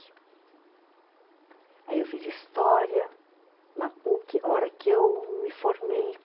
Aí eu fiz história na puqui a hora que eu me formei.